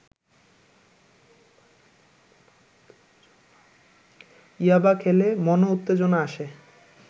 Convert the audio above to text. ইয়াবা খেলে মনোত্তেজনা আসে